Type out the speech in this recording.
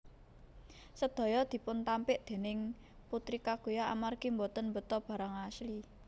Sedaya dipuntampik déning Putri kaguya amargi boten mbeta barang asli